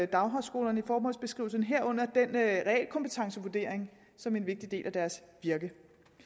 daghøjskolerne i formålsbeskrivelsen herunder realkompetencevurderingen som en vigtig del af deres virke